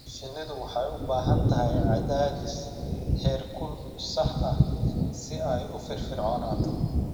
Shinnidu waxay u baahan tahay cadaadis heerkul sax ah si ay u firfircoonaato.